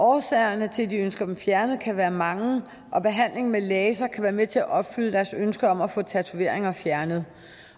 årsagerne til at de ønsker dem fjernet kan være mange og behandling med laser kan være med til at opfylde deres ønske om at få tatoveringer fjernet